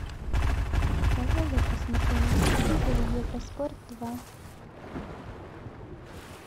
давай я посмотрю на телевизоре евроспорт два